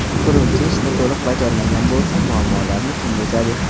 Quruvchi ishni to‘liq bajarmagan bo‘lsa, muammolarni kim yechadi?